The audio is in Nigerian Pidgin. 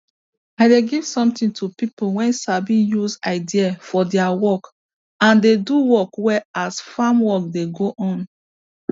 i dey give sometin to pipo wey sabi use idea for deir work and dey do work well as farm work dey go on